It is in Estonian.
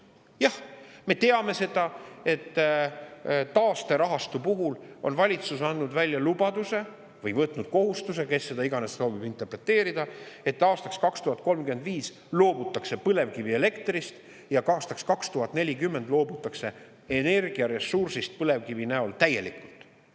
Jah, me teame seda, et taasterahastu puhul on valitsus andnud välja lubaduse või võtnud kohustuse, kes seda iganes soovib interpreteerida, et aastaks 2035 loobutakse põlevkivielektrist ja aastaks 2040 loobutakse energiaressursist põlevkivi näol täielikult.